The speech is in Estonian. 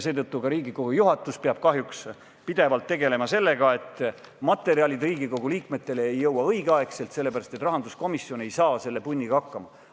Seetõttu ka Riigikogu juhatus peab kahjuks pidevalt tegelema sellega, et materjalid Riigikogu liikmetele ei jõua õigeaegselt, sellepärast et rahanduskomisjon ei saa selle punniga hakkama.